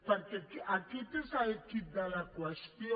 perquè aquest és el quid de la qüestió